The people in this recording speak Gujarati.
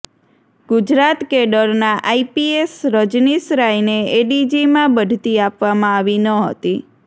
ગુજરાત કેડરના આઈપીએસ રજનીશ રાયને એડીજીમાં બઢતી આપવામાં આવી ન હતી